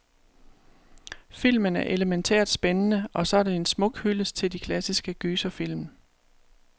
Filmen er elemæntært spændende, og så er den en smuk hyldest til de klassiske gyserfilm.